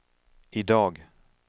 idag